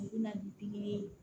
U bɛ na ni pikiri ye